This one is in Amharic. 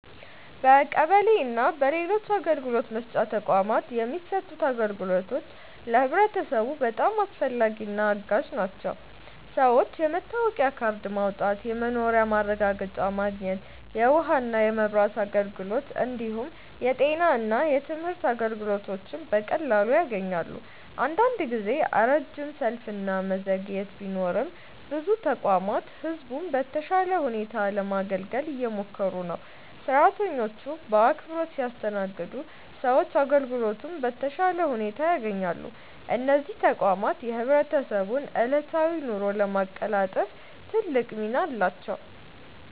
በቀበሌ እና በሌሎች አገልግሎት መስጫ ተቋማት የሚሰጡት አገልግሎቶች ለህብረተሰቡ በጣም አስፈላጊና አጋዥ ናቸው። ሰዎች የመታወቂያ ካርድ ማውጣት፣ የመኖሪያ ማረጋገጫ ማግኘት፣ የውሃና የመብራት አገልግሎት እንዲሁም የጤና እና የትምህርት አገልግሎቶችን በቀላሉ ያገኛሉ። አንዳንድ ጊዜ ረጅም ሰልፍ እና መዘግየት ቢኖርም ብዙ ተቋማት ህዝቡን በተሻለ ሁኔታ ለማገልገል እየሞከሩ ነው። ሰራተኞቹ በአክብሮት ሲያስተናግዱ ሰዎች አገልግሎቱን በተሻለ ሁኔታ ያገኛሉ። እነዚህ ተቋማት የህብረተሰቡን ዕለታዊ ኑሮ ለማቀላጠፍ ትልቅ ሚና አላቸው።